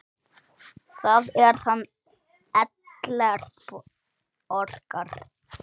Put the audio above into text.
Það er hann Ellert Borgar.